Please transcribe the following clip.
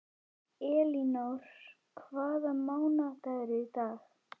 Elínór, hvaða mánaðardagur er í dag?